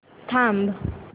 थांब